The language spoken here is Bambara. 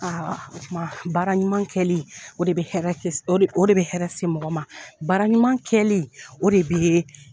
tuma baara ɲuman kɛli o de bɛ hɛrɛ se o de bɛ hɛrɛ se mɔgɔ ma baara ɲuman kɛli o de bɛ